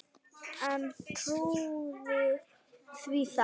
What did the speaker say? En trúði því þá.